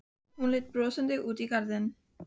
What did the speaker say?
Hún leit brosandi út í garðinn.